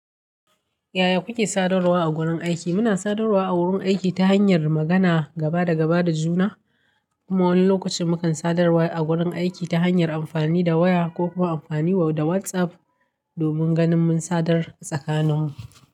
Yaya kuke sadarwa a wurin aiki? Muna sadarwa a wurin aiki ta hanyar magana gaba da gaba da juna, kuma wani lokacin mukan sadarwa a wurin aiki ta hanyar amfani da waya ko kuma amfani da WhatsApp domin ganin mun sadar tsakaninmu.